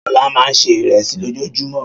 Ṣọlá máa ń se ìrẹsì lójoojúmọ́.